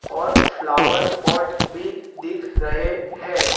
और flower pot भी दिख रहे हैं।